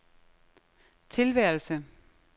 tilværelse